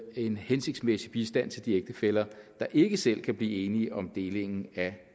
en hensigtsmæssig bistand til de ægtefæller der ikke selv kan blive enige om delingen af